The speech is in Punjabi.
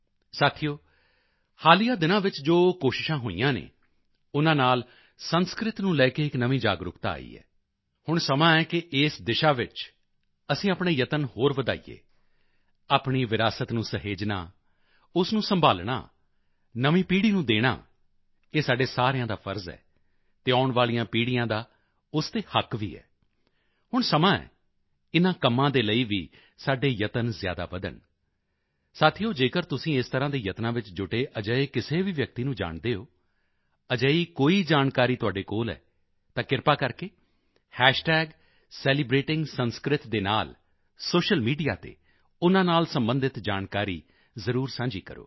ਸਾਥੀਓ ਹਾਲੀਆ ਦਿਨਾਂ ਵਿੱਚ ਜੋ ਕੋਸ਼ਿਸ਼ਾਂ ਹੋਈਆਂ ਹਨ ਉਨ੍ਹਾਂ ਨਾਲ ਸੰਸਕ੍ਰਿਤ ਨੂੰ ਲੈ ਕੇ ਇੱਕ ਨਵੀਂ ਜਾਗਰੂਕਤਾ ਆਈ ਹੈ ਹੁਣ ਸਮਾਂ ਹੈ ਕਿ ਇਸ ਦਿਸ਼ਾ ਵਿੱਚ ਅਸੀਂ ਆਪਣੇ ਯਤਨ ਹੋਰ ਵਧਾਈਏ ਆਪਣੀ ਵਿਰਾਸਤ ਨੂੰ ਸਹੇਜਣਾ ਉਸ ਨੂੰ ਸੰਭਾਲਣਾ ਨਵੀਂ ਪੀੜ੍ਹੀ ਨੂੰ ਦੇਣਾ ਇਹ ਸਾਡੇ ਸਾਰਿਆਂ ਦਾ ਫ਼ਰਜ਼ ਹੈ ਅਤੇ ਆਉਣ ਵਾਲੀਆਂ ਪੀੜ੍ਹੀਆਂ ਦਾ ਉਸ ਤੇ ਹੱਕ ਵੀ ਹੈ ਹੁਣ ਸਮਾਂ ਹੈ ਇਨ੍ਹਾਂ ਕੰਮਾਂ ਦੇ ਲਈ ਵੀ ਸਾਡੇ ਯਤਨ ਜ਼ਿਆਦਾ ਵਧਣ ਸਾਥੀਓ ਜੇਕਰ ਤੁਸੀਂ ਇਸ ਤਰ੍ਹਾਂ ਦੇ ਯਤਨਾਂ ਵਿੱਚ ਜੁਟੇ ਅਜਿਹੇ ਕਿਸੇ ਵੀ ਵਿਅਕਤੀ ਨੂੰ ਜਾਣਦੇ ਹੋ ਅਜਿਹੀ ਕੋਈ ਜਾਣਕਾਰੀ ਤੁਹਾਡੇ ਕੋਲ ਹੈ ਤਾਂ ਕ੍ਰਿਪਾ ਕਰਕੇ ਸੈਲੀਬ੍ਰੇਟਿੰਗਸੰਸਕ੍ਰਿਤ ਦੇ ਨਾਲ ਸੋਸ਼ਲ ਮੀਡੀਆ ਤੇ ਉਨ੍ਹਾਂ ਨਾਲ ਸਬੰਧਿਤ ਜਾਣਕਾਰੀ ਜ਼ਰੂਰ ਸਾਂਝੀ ਕਰੋ